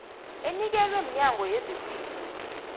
enikelwe mnyango wezaphilo